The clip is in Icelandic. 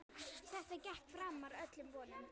Þetta gekk framar öllum vonum.